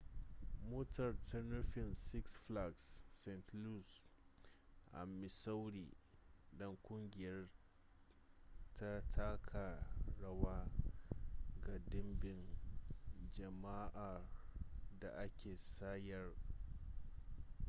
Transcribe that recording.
motar ta nufi six flags st louis a missouri don kungiyar ta taka rawa ga dimbin jama'ar da aka sayar